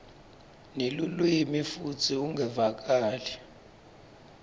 nelulwimi futsi ungevakali